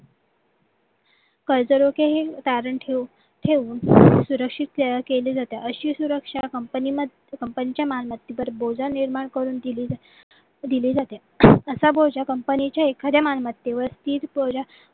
कर्जरोखे हे तारण ठेवून सुरक्षित केले जाते अशी सुरक्षा company मध्ये company च्या मालमत्तेवर बोजा निर्माण करून दिली जाते असा बोजा company चे एखाद्या मालमत्तेवर